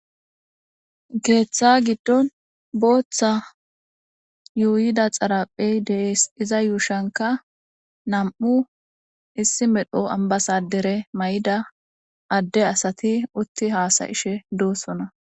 Ketha giddo botha yuyidda xaripheyi de'esi. Iza yushanikka namu'u issi medho ambasader mayida aassati utti hassayishe de'osona.